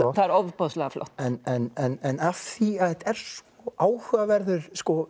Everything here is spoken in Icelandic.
það er ofboðslega flott en af því að þetta er svo áhugaverður